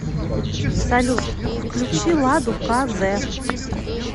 салют включи ладу ка зэ